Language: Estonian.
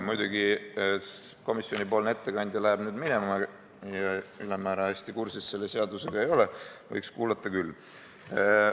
Muidugi, komisjoni ettekandja läheb nüüd minema ja ülemäära hästi kursis selle seadusega ei ole, võiks kuulata küll.